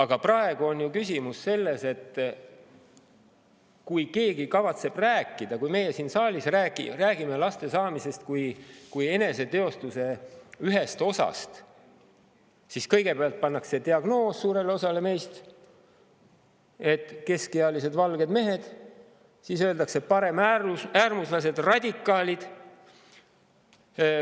Kuid praegu on ju küsimus selles, et kui keegi kavatseb rääkida – kui näiteks meie siin saalis räägime – laste saamisest kui eneseteostuse ühest osast, siis kõigepealt pannakse suurele osale meist diagnoos, et keskealised valged mehed, siis öeldakse: pareäärmuslased, radikaalid.